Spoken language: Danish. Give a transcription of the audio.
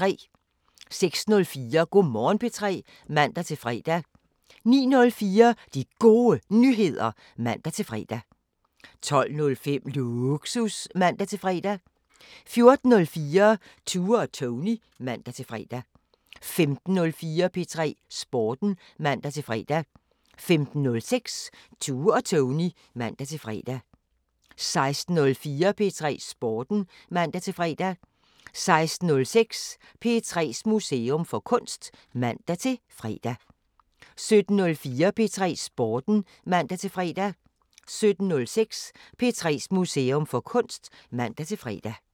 06:04: Go' Morgen P3 (man-fre) 09:04: De Gode Nyheder (man-fre) 12:05: Lågsus (man-fre) 14:04: Tue og Tony (man-fre) 15:04: P3 Sporten (man-fre) 15:06: Tue og Tony (man-fre) 16:04: P3 Sporten (man-fre) 16:06: P3's Museum for Kunst (man-fre) 17:04: P3 Sporten (man-fre) 17:06: P3's Museum for Kunst (man-fre)